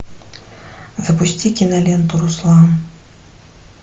запусти киноленту руслан